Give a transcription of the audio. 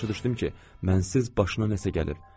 Başa düşdüm ki, mənsiz başına nəsə gəlib.